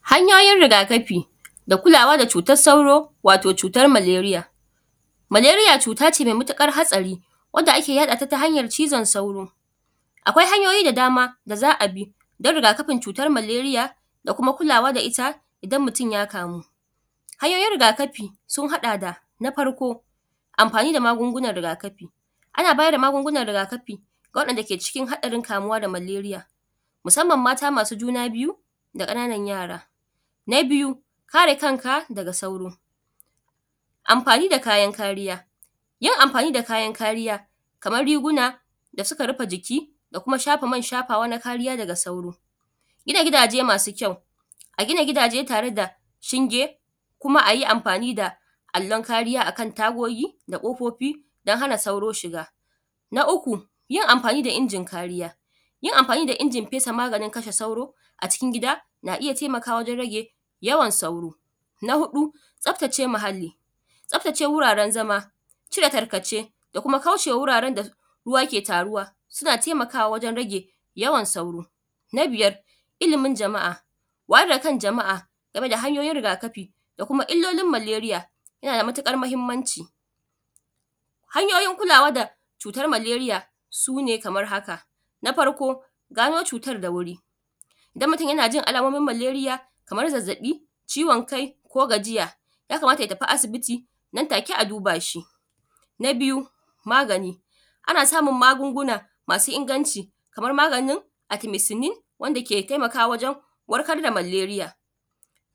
Hanyoyin rigakafin da kulawa da cutar sauro wato cutar maleriya. Maleriya cuta ce mai matukar haɗari wanda ake yaɗata ta hanyan cizon sauri. Akwai hanyoyi da dama da za'abi dan rigakafin cutar maleriya da kuma kulawa da itta idan hakan ya faru. Hanyoyin riga kafi na farko sun haɗa da amfani da magunhunan rigakafin ana bada magunhunan riga kafi ga wadan dake cikin haɗarin kamuwa da maleriya musamman mata masu juna biyu, da kanana yara. Na biyu kare kanka daga sauro amfani da kayan kariya yin amfani da kayan kariya kamar riguna da suka rufe jiki da shafa man shafawa na kariya daga sauro. Gina gidajen masu kyau a gina gidajen tareda shinge ayi amfani da allon kariya akan tagogi da wundaji dan hana sauro shiga. Na uku yin amfani da injin kariya, yin amfani da injin fesa maganin sauro a cikin gida na iyya taimakawa wajen rage yawan sauro. Na hudu tsaftace muhallahi, tsaftace wurare zama, cire tarkace da kuma kaucema wurare da ruwa ke taruwa suna taimakawa wajen rage yawan sauro. Na biyar illimin jama'a wayar dakan jama'a gameda hanyoyin rigakafi da Kuma illolin maleriya yanada matukar mahimmanci. Hanyoyin kulawa da cutar maleriya sune kamar haka. Na farko gani cutar da wuri Dan mutun yanajin alamomin maleriya kamar zazzabi, ciwon Kai ko gajiya yakamata ya tafi asibiti nan take a duba shi. Na biyu magani ana samun magunhunan masu inganci kamar maganin atimesinin wanda ke taimakawa wajen warkar da maleriya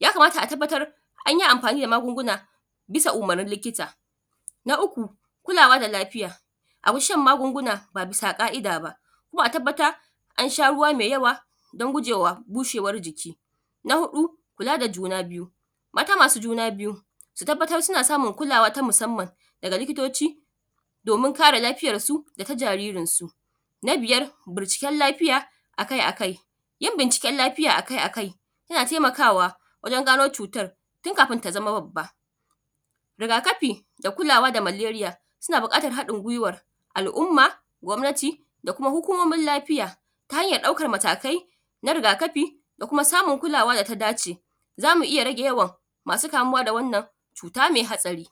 ya kamata a tabbatar anyi amfani da magunan bisa umurnin likita. Na uku kulawa da lafiya aguji shan magunguna ba bisa ka'ida ba kuma a tabbatar ansha ruwa mai yawa dan gujewa bushewar jiki. Na huɗu kula da juna biyu mata masu juna su tabbatar suna samun kulawa ta musamman daga likitoci domin kare lafiyar su data jaririn su. Na biyar bincike lafiya akai akai, yin bincike lafiya akai akai yana taimakawa wajen gani cutan tun kafin ta zama babban. Rigakafi da kulawa da maleriya suna bukatar hadin guiwar al umma, gwamnati da kuma hukumomin lafiya ta hanyar daukan matakai na riga kafi da Kuma samun kulawar data dace zamu iyya rage yawan masu kamuwa da wannan cuta me hadari.